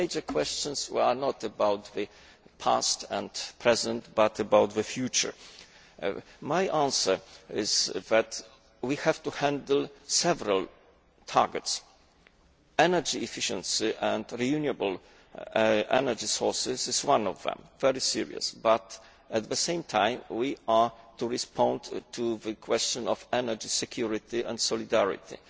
But the major questions were not about the past and present but about the future. My answer is that we have to handle several targets energy efficiency and renewable energy sources is one of them a very serious one. However, at the same time we have to respond to the question of energy security and solidarity.